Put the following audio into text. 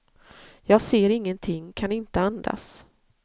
Jag ser ingenting, kan inte andas.